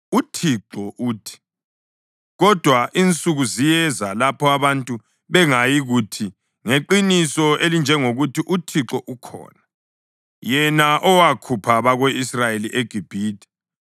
UThixo uthi, “Kodwa insuku ziyeza lapho abantu bengayikuthi, ‘Ngeqiniso elinjengokuthi uThixo ukhona, yena owakhupha abako-Israyeli eGibhithe,’